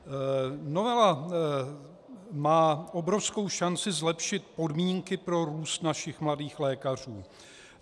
Novela má obrovskou šanci zlepšit podmínky pro růst našich mladých lékařů.